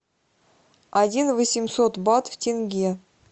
один восемьсот бат в тенге